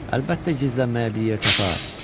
Əlbəttə gizlənməyə bir yer tapar.